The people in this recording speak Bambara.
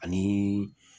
Ani